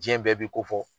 Diɲɛ bɛɛ bi ko fɔ